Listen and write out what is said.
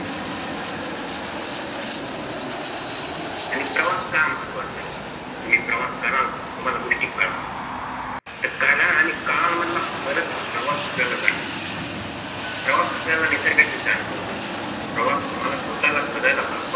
आणि प्रवास का महत्वाचा आहे तुम्ही प्रवास करा तुम्हाला गोष्टी करालं करा आणि करालं मधला फरक हा प्रवास आपल्याला जाणवतो प्रवास आपल्याला निसर्गाची जाण करून देतो प्रवास तुम्हाला स्वतःला शोधायला भाग पाडतो